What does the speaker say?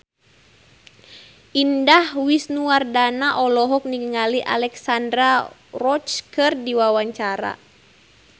Indah Wisnuwardana olohok ningali Alexandra Roach keur diwawancara